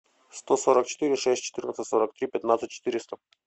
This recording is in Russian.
сто сорок четыре шесть четырнадцать сорок три пятнадцать четыреста